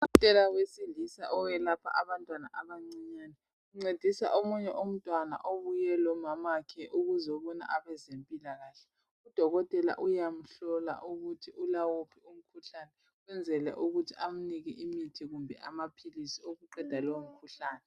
Udokotela wesilisa oyelapha abantwana abancinyane uncedisa umntwana obuye lonina ukuzobona abezempilakahle. Udokotela uyamhlola ukuthi ulawuphi umkhuhlane ukwenzela ukuthi amuphe imithi kumbe amaphilizi okuqeda lowomkhuhlane.